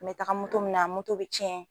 Me. taga moto minɛ moto bɛ tiɲɛ,